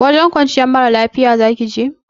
Wajen kwanciyar mara lafiya zaki je?